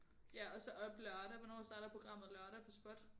Ja og så op lørdag hvornår starter programmet lørdag på spot